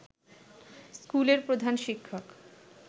স্কুলের প্রধান শিক্ষক